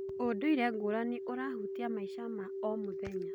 Ũndũire ngũrani ũrahutia maica ma o mũthenya.